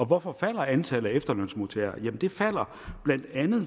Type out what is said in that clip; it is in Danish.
hvorfor falder antallet af efterlønsmodtagere det falder bla